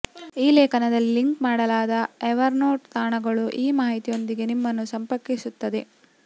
ಈ ಲೇಖನದಲ್ಲಿ ಲಿಂಕ್ ಮಾಡಲಾದ ಎವರ್ನೋಟ್ ತಾಣಗಳು ಈ ಮಾಹಿತಿಯೊಂದಿಗೆ ನಿಮ್ಮನ್ನು ಸಂಪರ್ಕಿಸುತ್ತದೆ